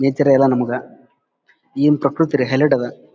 ನಿತಿರೆ ಎಲ್ಲ ನಮಗ ಏನ್ ಪ್ರಕ್ರತಿ ಅಲ್ಲಿ ಹೈಲೈಟ್ ಅದ--